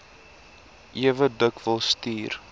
ewe dikwels stuur